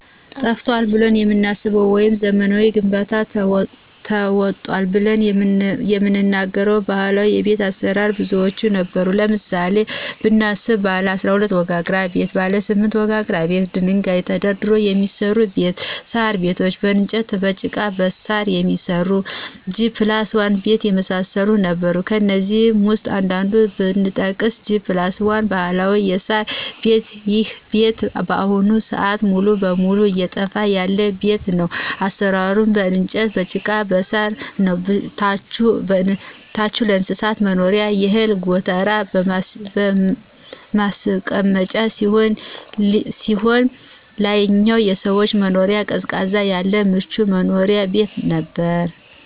ጠፍቷል ብለን የምናስበው ወይም በዘመናዊ ግንባታ ተውጧል ብለን የምንናገረው ባህላዊ ቤት አሰራር ብዙዎች ነበሩ ለምሳሌ ብናነሳቸው ባለ12 ወጋግራ ቤት :ባለ8 ወጋግራ ቤት ደንጋይ ተደርድሮ የሚሰራ ቤት :ሳር ቤት በእንጨትና በጭቃ በሳር የሚሰራ G+1 ቤት የመሳሰሉት ነበሩ ከእነዚህ ውስጥ አንዱን ብጠቅስ G+1 ባህላዊ የሳር ቤት ይሄ ቤት በአሁኑ ስአት ሙሉ በሙሉ እየጠፋ ያለ ቤት ነው አሰራሩም በእንጨት በጭቃና በሳር ነው ታቹ የእንስሳት መኖሪያና የእህል ጎተራ ማስቀመጫ ሲሆን ላይኛው የሰዎች መኖሪያ ቅዝቃዜ ያለው ምቹ መኖሪያ ቤት ነበር።